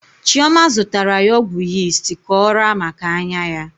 Chioma zụtara ya ọgwụ yist ka ọ raa maka anya ya.